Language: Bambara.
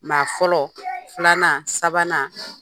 Maa fɔlɔ, filanan ,sabanan